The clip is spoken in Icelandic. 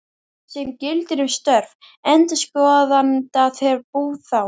sem gildir um störf endurskoðanda þegar bú, þám.